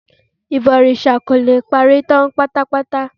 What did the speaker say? Ìbọ̀rìsà kò le parí tán pátápátá